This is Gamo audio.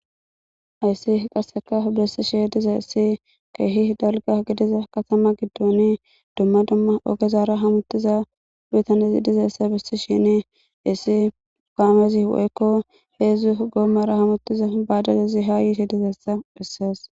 Hayssi qaseka bissi she diza issi keehi dalga gidiza katama giddooni dumma dumma ogezara hamuttiza bitanizi diza sse bissi shini issi gaamezi woykko heedzu goommara hamuttiza baadalezi haa yiite dizayssa hisses